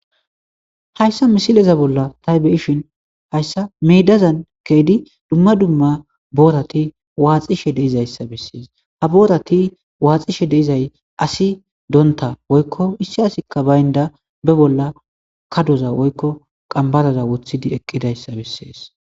Hayssi missileza bolla tay beishin hayssa meedazan keiidi dumma dumma booraati waaxxishe deiizayssa besses ha boorata waxxeishe deiizay asi donnta be bolla qanbbaraza woykko kadoza woththi eqqidayssa besses.